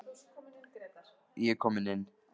Konungur tók á móti þeim samstundis.